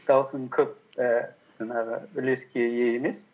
даусың көп і жаңағы үлеске ие емес